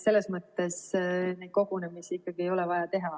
Selles mõttes neid kogunemisi ikkagi ei ole vaja teha.